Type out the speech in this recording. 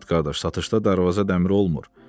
Sabit qardaş, satışda darvaza dəmir olmur.